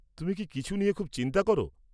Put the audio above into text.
তুমি কি কিছু নিয়ে খুব চিন্তা করো?